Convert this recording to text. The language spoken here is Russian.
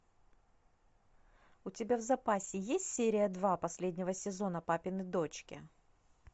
у тебя в запасе есть серия два последнего сезона папины дочки